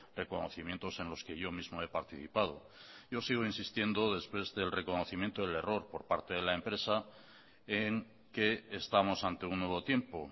reconocimientos en los que yo mismo he participado yo sigo insistiendo después del reconocimiento del error por parte de la empresa en que estamos ante un nuevo tiempo